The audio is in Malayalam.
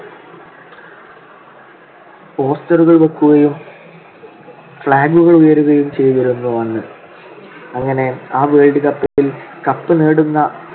poster കൾ വെക്കുകയും flag കൾ ഉയരുകയും ചെയ്‌തിരുന്നു അന്ന്. അങ്ങനെ ആ world cup ൽ cup നേടുന്ന